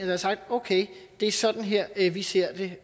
har sagt okay det er sådan her vi ser det